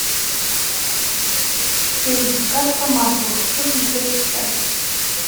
фильм как по маслу хочу смотреть сейчас